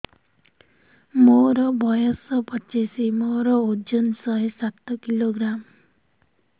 ମୋର ବୟସ ପଚିଶି ମୋର ଓଜନ ଶହେ ସାତ କିଲୋଗ୍ରାମ